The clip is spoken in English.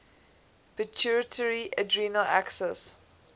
pituitary adrenal axis